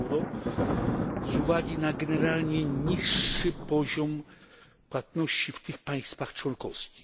euro, z uwagi na generalnie niższy poziom płatności w tych państwach członkowskich.